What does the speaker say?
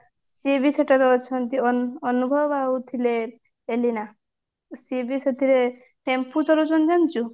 ସେ ବି ସେଟା ରେ ଅଛନ୍ତି ଅନୁଭବ ଆଉ ଥିଲେ ଏଲିନା ସିଏ ବି ସେଥିରେ ଟେମ୍ପୁ ଚଲୋଉଛନ୍ତି ଜାଣିଛୁ